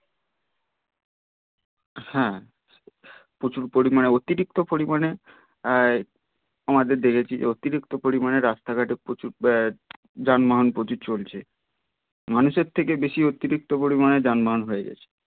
হ্যা প্রচুর পরিমানে অতিরিক্ত পরিমানে আহ আমাদের যে অতিরিক্ত পরিমানে রাস্তা ঘটে প্রচুর যানবাহন প্রচুর চলছে মানুষের থেকে বেশি অতিরিক্ত পরিমানে যানবাহন হয়ে গেছে